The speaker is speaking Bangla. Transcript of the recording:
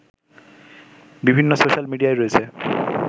বিভিন্ন সোশাল মিডিয়ায় রয়েছে